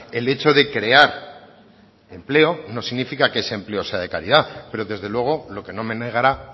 el hecho de crear empleo no significa que ese empleo sea de calidad pero desde luego lo que no me negará